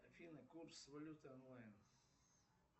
афина курс валюты онлайн